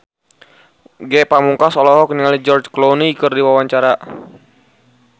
Ge Pamungkas olohok ningali George Clooney keur diwawancara